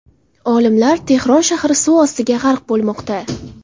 Olimlar: Tehron shahri suv ostiga g‘arq bo‘lmoqda.